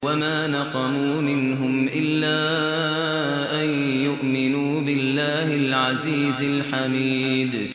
وَمَا نَقَمُوا مِنْهُمْ إِلَّا أَن يُؤْمِنُوا بِاللَّهِ الْعَزِيزِ الْحَمِيدِ